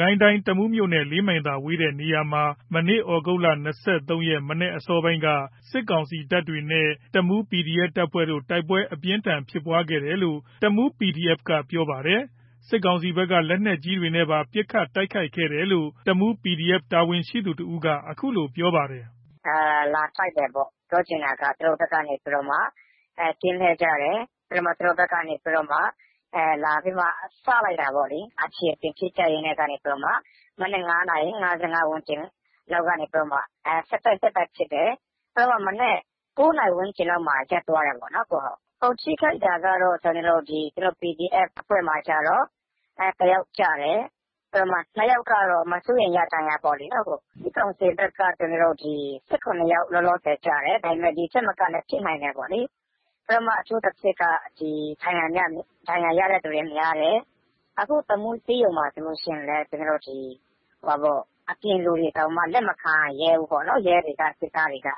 ကိုင်းတိုင်း တမူးမြို့နဲ့ ၄ မိုင်သာ ကွာဝေးတဲ့နေရာမှာ ဒီကနေ့ သြဂုတ် ၂၃ ရက် မနက်အစောပိုင်းက စစ်ကောင်စီတပ်တွေနဲ့ တမူး PDF တပ်ဖွဲ့တို့ တိုက်ပွဲ အပြင်းအထန်ဖြစ်ပွားခဲ့တယ်လို့ တမူး PDF ကပြောပါတယ်။ စစ်ကောင်စီဘက်က လက်နက်ကြီးတွေနဲ့ပါ ပစ်ခတ်တိုက်ခိုက်တယ်လို့တမူး PDF တာဝန်ရှိသူတဦးက အခုလိုပြောပါတယ်။ “လာတိုက်တယ်ပေါ့။ သူတို့ဘက်က ကင်းလှည့်ကြတယ်။ သူတို့ဘက်က လာပြီးတော့ စလိုက်တာ ပေါ့လေ။ အခြေတင်ဖြစ်ကြရင်းကနေ မနက် ၅ နာရီ ကနေ ဆက်တိုက် ဆက်တိုက်ဖြစ်တယ်။ မနက် ၉ နာရီဝန်းကျင်လောက်မှာ ရပ်သွားတယ်ပေါ့လေ။ ထိခိုက်တာက PDF အဖွဲ့က တယောက်ကျတယ်။ ၂ ယောက်ကတော့ မစိုးရိမ်ရ ဒဏ်ရာပေါ့လေ။ စစ်ကောင်စီဘက်ကတော့ ၁၇ ယောက် လောလောဆယ် ကျတယ်။ ဒီ့ထက်မကလည်း ဖြစ်နိုင်တယ်ပေါ့လေ။ အထူးသဖြင့်က ဒဏ်ရာရတဲ့သူတွေများတယ်။ အခုတမူး ဆေးရုံမှာ ဆိုလို့ရှိရင်လည်း အပြင်လူတွေတောင် လက်မခံရဲဘူးပေါ့လေ။ ရဲတွေက စစ်သားတွေက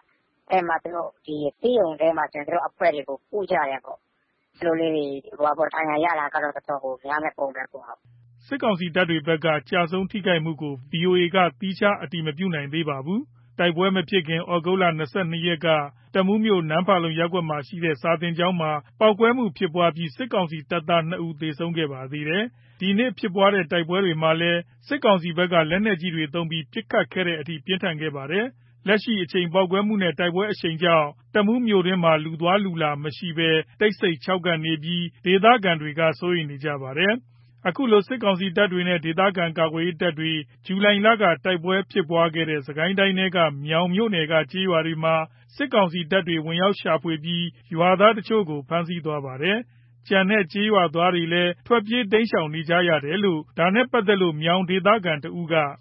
ဆေးရုံထဲမှာ သူတို့အဖွဲ့တွေကို ကုကြတယ်ပေါ့လေ။ ဒဏ်ရာရတာကတော်တော်ကို များမယ့်ပုံပဲ။” စစ်ကောင်စီတပ်တွေဘက်က ကျဆုံး ထိခိုက်မှုကို ဗီအိုအေက သီးခြား အတည်မပြုနိုင်သေးပါဘူး။ တိုက်ပွဲ မဖြစ်ခင် သြဂုတ် ၂၂ ရက်က တမူးမြို့ နမ့်ဖာလုံ ရပ်ကွက်မှာရှိတဲ့ စာသင်ကျောင်းမှာ ပေါက်ကွဲမှု ဖြစ်ပွားပြီး စစ်ကောင်စီတပ်သား ၂ ဦး သေဆုံးခဲ့ပါသေးတယ်။ ဒီနေ့ဖြစ်ပွားတဲ့ တိုက်ပွဲမှာလည်း စစ်ကောင်စီဘက်က လက်နက်ကြီးတွေ သုံးပြီး ပစ်ခတ်ခဲ့တဲ့အထိ ပြင်းထန်ခဲ့ပါတယ်။ လက်ရှိအချိန် ပေါက်ကွဲမှုနဲ့ တိုက်ပွဲအရှိန်ကြောင့် တမူးမြို့တွင်းမှာ လူသွားလူလာမရှိဘဲ တိတ်ဆိတ်ခြောက်ကပ်နေပြီး ဒေသခံတွေက စိုးရိမ်နေပါတယ်။ ခုလိုစစ်ကောင်စီတပ်တွေနဲ့ ဒေသခံကာကွယ်ရေးတပ်တွေ ဇူလိုင်လက တိုက်ပွဲဖြစ်ပွားခဲ့တဲ့ စစ်ကိုင်းတိုင်းထဲက မြောင်မြို့နယ်က ကျေးရွာတွေမှာ စစ်ကောင်စီတပ်တွေ ဝင်ရောက်ရှာဖွေပြီး ရွာသားတချို့ကို ဖမ်းဆီးသွားပါတယ်။ ကျန်တဲ့ကျေးရွာသားတွေလည်း ထွက်ပြေးတိမ်းရှောင် နေကြရ တယ်လို့ ဒါနဲ့ပတ်သက်လို့ မြောင်ဒေသခံတဦးက “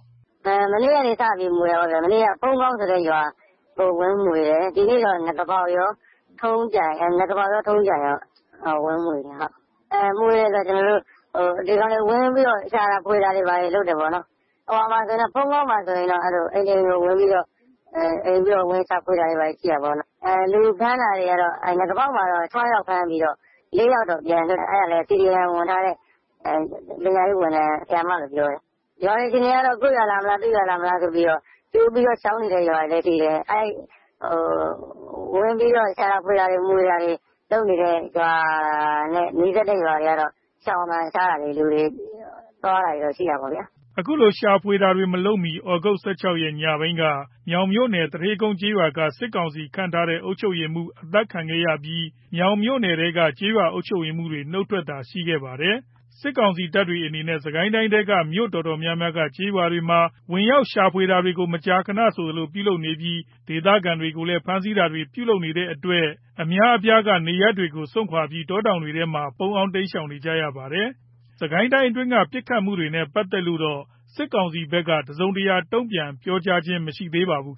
မနေ့ကနေစပြီး မွှေတာပေါ့ဗျာ။ မနေ့က ဖုန်းမောင်းဆိုတဲ့ ရွာကိုဝင်မွှေတယ်။ ဒီနေ့တော့ နဂါးပေါက်ကော ထုံးကြိုင်ကော ဝင်မွှေတယ်။ မွှေတယ်ဆိုတာ ဒီကောင်တွေဝင်ပြီးတော့ ရှာတာဖွေ တာတွေလုပ်တယ်။ ဖုန်းမောင်းမှာဆိုရင် အိမ်တွေဝင်ရှာဖွေတာတွေရှိတာပေါ့။ နဂါးပေါက်မှာတော့ ၆ ယောက်ပြီးတော့ ၄ ယောက် ပြန်လွတ်တယ်လို့သိတယ်။ ပြန်လွတ်တာ CDM ဝင်ထားတဲ့ ဆရာမ ဝန်ထမ်းလို့ပြောတယ်။ ရွာတွေ အခြေအနေကတော့ ကိုယ့်ရွာလာမလား သူ့ရွာလာမလား ကြိုပြီး ရှောင်နေတဲ့ရွာတွေရှိတယ်။ ဝင်ပြီးတော့ ရှာတာဖွေတာတွေ လုပ်နေတဲ့ ရွာတွေနဲ့ နီးစပ်တဲ့ရွာတွေ ရှောင်တာ ရှားတာတွေ လူတွေသွားတာတွေ ရှိတာပေါ့။” အခုလို ရှာဖွေတာတွေ မလုပ်မှီ သြဂုတ် ၁၆ ရက် ညပိုင်းက မြောင်မြို့နယ် သူဌေးကုန်းကျေးရွာက စစ်ကောင်စီခန့်ထားတဲ့ အုပ်ချုပ်ရေးမှူး အသတ်ခံခဲ့ရပြီး မြောင်မြို့နယ်ထဲက ကျေးရွာအုပ်ချုပ် ရေးမှူးတွေ နှုတ်ထွက်တာတွေ ရှိခဲ့ပါတယ်။ စစ်ကောင်စီတပ်တွေအနေနဲ့ စစ်ကိုင်းတိုင်းထဲက မြို့တော်တော်များများက ကျေးရွာတွေမှာ ဝင်ရောက်ရှာဖွေတာတွေကို မကြာခဏဆိုသလို ပြုလုပ်နေပြီး ဒေသခံတွေကိုလည်း ဖမ်းဆီးတာတွေ ပြုလုပ်နေတဲ့အတွက် ဒေသခံအများအပြားက နေရပ်တွေကို စွန့်ခွါပြီး တောတောင်တွေထဲမှာ ပုန်းအောင်း တိမ်းရှောင်နေရပါတယ်။ စစ်ကိုင်းတိုင်းအတွင်းက မနေ့က ပစ်ခတ်မှုတွေနဲ့ ပတ်သက်လို့တော့ စစ်ကောင်စီဖက်ကတော့ တစုံတရာတုံပြန်ပြောကြားခြင်းမရှိသေးပါဘူး